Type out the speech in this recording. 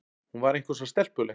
Hún var eitthvað svo stelpuleg.